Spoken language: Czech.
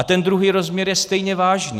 A ten druhý rozměr je stejně vážný.